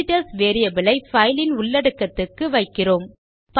visitors variable ஐ file இன் உள்ளடக்கத்துக்கு வைக்கிறோம்